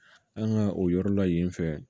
An ka o yɔrɔ la yen fɛ